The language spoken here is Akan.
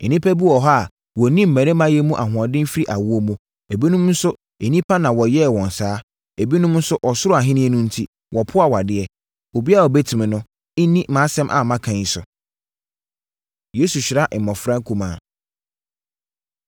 Nnipa bi wɔ hɔ a wɔnni mmarimayɛ mu ahoɔden firi awoɔ mu, ebinom nso nnipa na wɔyɛɛ wɔn saa; ebinom nso ɔsoro Ahennie no enti, wɔpo awadeɛ. Obiara a ɔbɛtumi no, nni mʼasɛm a maka yi so.” Yesu Hyira Mmɔfra Nkumaa